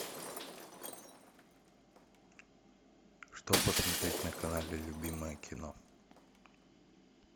что посмотреть на канале любимое кино